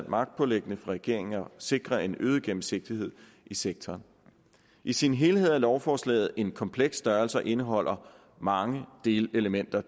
magtpåliggende for regeringen at sikre en øget gennemsigtighed i sektoren i sin helhed er lovforslaget en kompleks størrelse og indeholder mange delelementer